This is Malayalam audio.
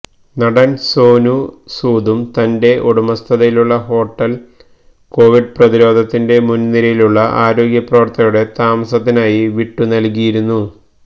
നടന് സോനു സൂദും തന്റെ ഉടമസ്ഥതയിലുള്ള ഹോട്ടല് കൊവിഡ് പ്രതിരോധത്തിന്റെ മുന്നിരയിലുള്ള ആരോഗ്യപ്രവര്ത്തകരുടെ താമസത്തിനായി വിട്ടുനല്കിയിരുന്നു